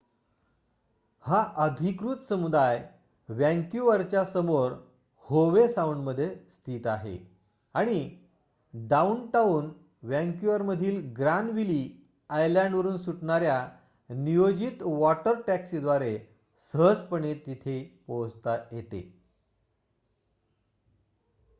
हा अधिकृत समुदाय वँक्युवरच्या समोर होवे साऊंडमध्ये स्थित आहे आणि डाउनटाउन वँक्युवरमधील ग्रानविली आयलँडवरुन सुटणाऱ्या नियोजित वॉटर टॅक्सींद्वारे सहजपणे तिथे पोहोचता येते